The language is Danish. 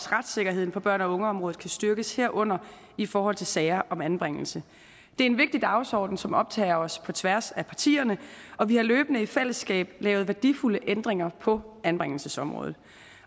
retssikkerheden for børn og unge området kan styrkes herunder i forhold til sager om anbringelse det er en vigtig dagsorden som optager os på tværs af partierne og vi har løbende i fællesskab lavet værdifulde ændringer på anbringelsesområdet